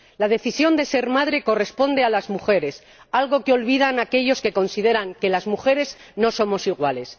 La decisión de ser madre corresponde a las mujeres, algo que olvidan aquellos que consideran que las mujeres no somos iguales.